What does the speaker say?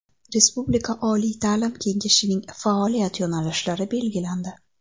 Respublika oliy ta’lim kengashining faoliyat yo‘nalishlari belgilandi.